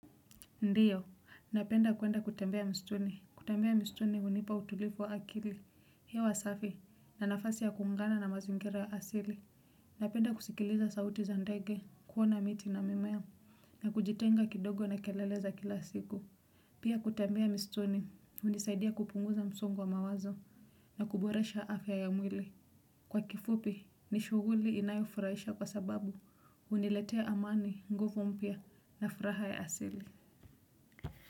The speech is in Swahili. Ndiyo, napenda kuenda kutembea mstuni, kutembea mistuni unipa utulivu wa akili, hewa safi, na nafasi ya kuungana na mazingira asili. Napenda kusikiliza sauti za ndege, kuona miti na mimea, na kujitenga kidogo na kelele za kila siku. Pia kutembea mistuni, unisaidia kupunguza msongo wa mawazo, na kuboresha afya ya mwili. Kwa kifupi, ni shuguli inayofuraisha kwa sababu, uniletea amani, nguvu mpya, na furaha ya asili.